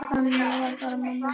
Þannig var bara mamma.